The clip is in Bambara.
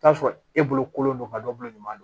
T'a sɔrɔ e bolo kolen don ka dɔ bolo ɲuman don